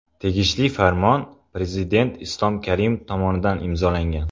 Tegishli farmon Prezident Islom Karimov tomonidan imzolangan.